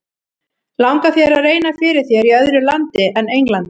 Langar þér að reyna fyrir þér í öðru landi en Englandi?